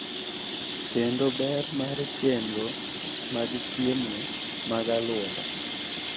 Kendo ber mar chenro mag chiemo mag alwora.